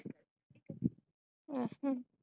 ਅਛਾ